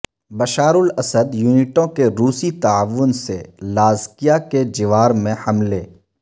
Bashar al Assad یونٹوں کے روسی تعاون سے لازکیہ کے جوار میں حملے